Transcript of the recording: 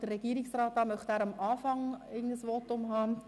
Sind Sie mit diesem Vorgehen einverstanden?